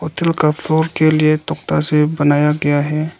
के लिए तख्ता से बनाया गया है।